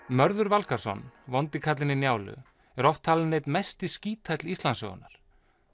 Mörður Valgarðsson vondi kallinn í Njálu er oft talinn einn mesti skíthæll Íslandssögunnar